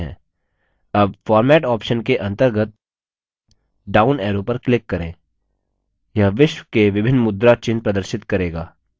अब format option के अंतर्गत down arrow पर click करें यह विश्व के विभिन्न मुद्रा चिन्ह प्रदर्शित करेगा